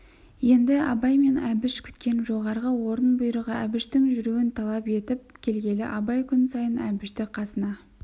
енді абай мен әбіш күткен жоғарғы орын бұйрығы әбіштің жүруін талап етіп келгелі абай күн сайын әбішті қасына